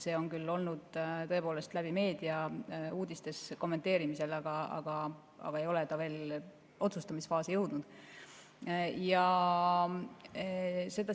See on küll olnud tõepoolest meedia kaudu uudistes kommenteerimisel, aga see ei ole otsustamisfaasi veel jõudnud.